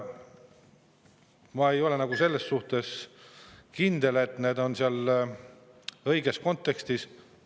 Ma ei ole nagu selles suhtes kindel, et need on seal õiges kontekstis.